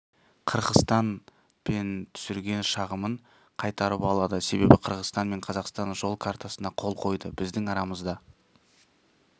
қырғызстан пен түсірген шағымын қайтарып алады себебі қырғызстан мен қазақстан жол картасына қол қойды біздің арамызда